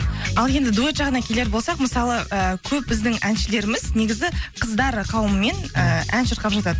ал енді дуэт жағына келер болсақ мысалы ы көп біздің әншілеріміз негізі қыздар қауымымен ыыы ән шырқап жатады